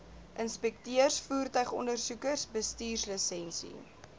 inspekteurs voertuigondersoekers bestuurslisensie